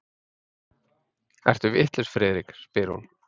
Ertu vitlaus, Friðrik? spurði hún.